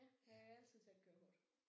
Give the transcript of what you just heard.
Ja jeg kan altid tage et kørekort